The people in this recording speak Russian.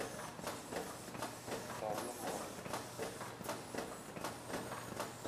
тони моли